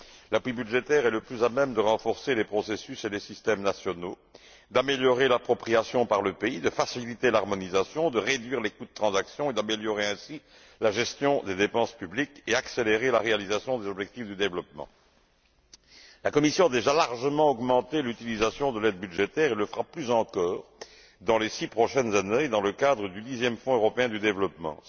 L'appui budgétaire est le plus à même de renforcer les processus et les systèmes nationaux, d'améliorer l'appropriation par le pays, de faciliter l'harmonisation, de réduire les coûts de transaction et d'améliorer ainsi la gestion des dépenses publiques et accélérer la réalisation des objectifs du développement La Commission a déjà largement augmenté l'utilisation de l'aide budgétaire et le fera plus encore au cours des six prochaines années, dans le cadre du dixième Fonds européen de développement.